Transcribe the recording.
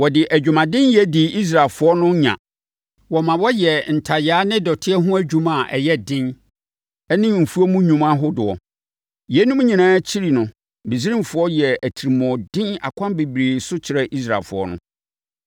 Wɔde adwumadenyɛ dii Israelfoɔ no nya. Wɔma wɔyɛɛ ntayaa ne dɔteɛ ho adwuma a ɛyɛ den ne mfuom nnwuma ahodoɔ. Yeinom nyinaa akyiri no Misraimfoɔ yɛɛ atirimuɔden akwan bebree so kyerɛɛ Israelfoɔ no.